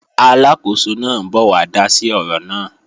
Aláàkóso náà ń bọ̀ wá dá sí ọ̀rọ̀ náà